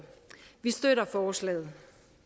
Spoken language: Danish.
vi støtter forslaget